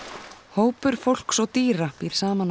hópur fólks og dýra býr saman á